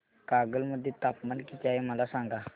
कागल मध्ये तापमान किती आहे मला सांगा